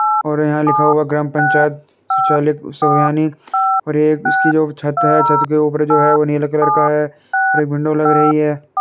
और यहाँ लिखा हुआ ग्रामपंचायत सचिवालय सभयानी और एक इसकी जो छत है छत के ऊपर जो है वो नीले कलर का है और एक विंडो लग रही है।